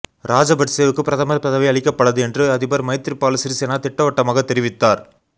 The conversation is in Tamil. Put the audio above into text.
ராஜபட்சவுக்கு பிரதமர் பதவி அளிக்கப்படாது என்று அதிபர் மைத்ரிபால சிறீசேனா திட்டவட்டமாகத் தெரிவித்தார்